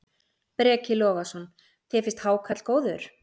Breki Logason: Þér finnst hákarl góður?